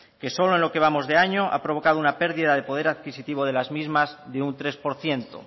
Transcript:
que solo en lo que vamos de año ha provocado una pérdida de poder adquisitivo de las mismas de un tres por ciento